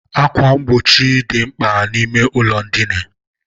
Ákwà mgbochi dị mkpa n'ime ụlọ ndina.